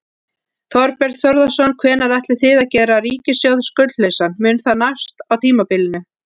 Þorbjörn Þórðarson: Hvenær ætlið þið að gera ríkissjóð skuldlausan, mun það nást á tímabilinu?